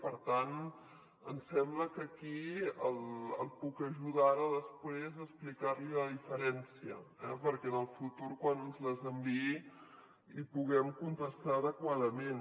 per tant ens sembla que aquí el puc ajudar ara després a explicar li la diferència eh perquè en el futur quan ens les enviï li puguem contestar adequadament